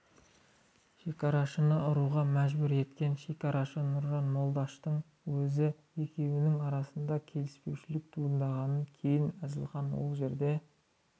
шекарашыны ұруға мәжбүр еткен шекарашы нұржан молдаштың өзі екеуінің арасында келіспеушілік туындағаннан кейін әзілхан ол жерден